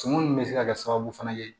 Suman nin bɛ se ka kɛ sababu fana ye